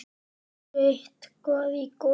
Ertu eitthvað í golfinu?